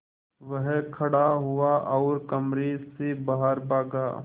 वह खड़ा हुआ और कमरे से बाहर भागा